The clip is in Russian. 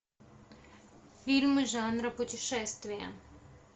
фильмы жанра путешествие